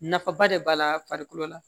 Nafaba de b'a la farikolo la